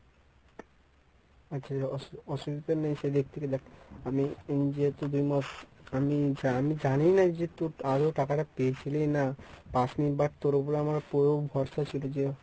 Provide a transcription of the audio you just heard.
আচ্ছা অস~ অসুবিধা নেই সেই আমি যেহেতু দুই মাস আমি আমি জানিইনা যে তোর আদৌ টাকাটা পেয়েছিলি না পাস নি but তোর উপরে আমার পুরো ভরসা ছিল যে